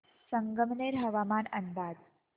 संगमनेर हवामान अंदाज